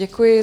Děkuji.